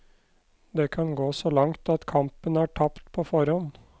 Det kan gå så langt at kampen er tapt på forhånd.